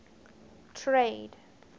trade